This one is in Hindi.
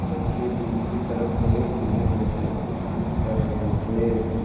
सड़क के दूसरी तरफ़ खड़े पूरे दृश्य को शूट कर रहे थे